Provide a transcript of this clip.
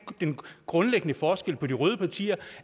en grundlæggende forskel til de røde partier